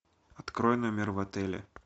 открой номер в отеле